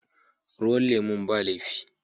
Ruwan lemun ba laifi.